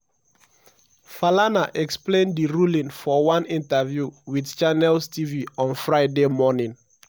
falana explain di ruling for one interview wit channels tv on friday morning.